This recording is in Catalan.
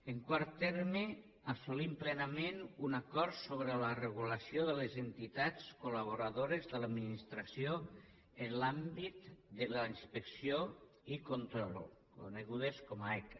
en quart terme assolim plenament un acord sobre la regulació de les entitats col·laboradores de l’administració en l’àmbit de la inspecció i control conegudes com a eca